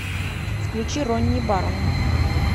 включи ронни баррон